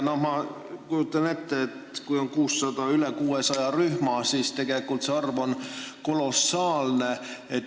Ma kujutan ette, et kui meil on üle 600 rühma, siis on see arv tegelikult kolossaalne.